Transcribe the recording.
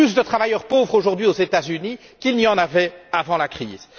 Il y a plus de travailleurs pauvres aujourd'hui aux États Unis qu'il n'y en avait avant la crise.